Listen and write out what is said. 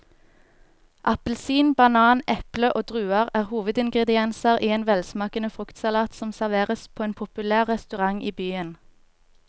Appelsin, banan, eple og druer er hovedingredienser i en velsmakende fruktsalat som serveres på en populær restaurant i byen.